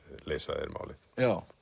leysa þeir málið já